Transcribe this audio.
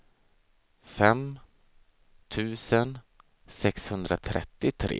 fem tusen sexhundratrettiotre